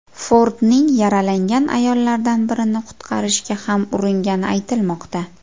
Fordning yaralangan ayollardan birini qutqarishga ham uringani aytilmoqda.